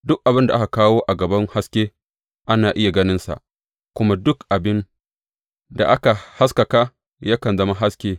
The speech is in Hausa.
Duk abin da aka kawo a gaban haske ana iya ganinsa, kuma duk abin da aka haskaka yakan zama haske.